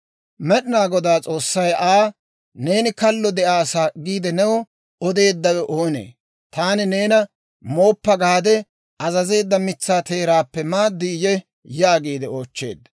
Med'ina Goday S'oossay Aa, « ‹Neeni kallo de'aasa› giide new odeeddawe oonee? Taani neena, ‹Mooppa› gaade azazeedda mitsaa teeraappe maadiyyee?» yaagiide oochcheedda.